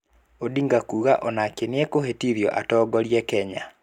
Odinga kuga onake nĩekũĩhĩtithio atongorie Kenya.